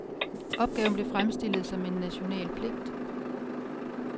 Opgaven blev fremstillet som en national pligt.